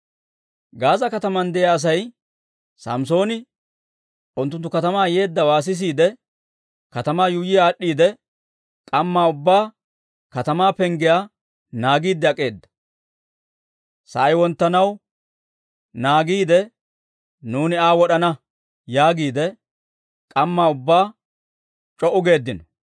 Gaaza kataman de'iyaa Asay Samssooni unttunttu katamaa yeeddawaa sisiide, katamaa yuuyyi aad'd'iide, k'ammaa ubbaa katamaa penggiyaa naagiidde ak'eeda; «Sa'ay wonttanaw naagiide, nuuni Aa wod'ana» yaagiide k'ammaa ubbaa c'o"u geeddino.